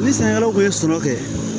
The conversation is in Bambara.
Ni sɛnɛkɛlaw ye sɔrɔ kɛ